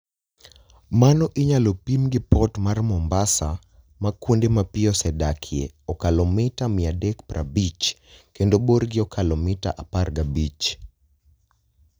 Mano inyalo pim gi Port mar Mombasa ma kuonde ma pi osedakie okalo mita 350 kendo borgi okalo mita 15.